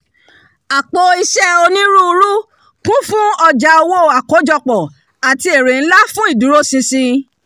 àpò-iṣẹ́ onírúurú kún fún ọjà owó àkójọpọ̀ àti ère ńlá fún ìdúróṣinṣin